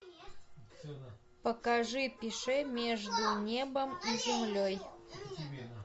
покажи пише между небом и землей